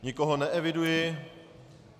Nikoho neeviduji.